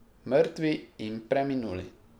Mrtvi in preminuli.